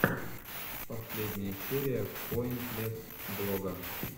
последняя серия поинтлесс блога